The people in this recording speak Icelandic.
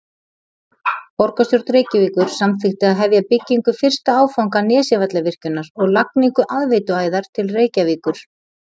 Borgarstjórn Reykjavíkur samþykkti að hefja byggingu fyrsta áfanga Nesjavallavirkjunar og lagningu aðveituæðar til Reykjavíkur.